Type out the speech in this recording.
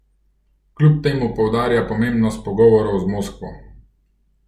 Kljub temu poudarja pomembnost pogovorov z Moskvo.